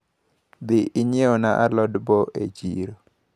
Dhi inyiewna alod bo e chiro.